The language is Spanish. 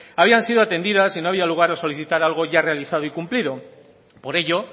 habían sido atendidas y no había lugar a solicitar algo ya realizado y cumplido por ello